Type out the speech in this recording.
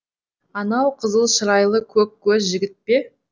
анау қызыл шырайлы көк көз жігіт пе